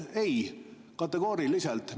Ei, kategooriliselt!